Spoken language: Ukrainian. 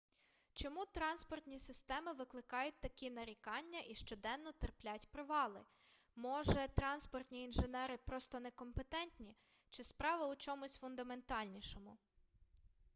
чому транспортні системи викликають такі нарікання і щоденно терплять провали може транспортні інженери просто некомпетентні чи справа у чомусь фундаментальнішому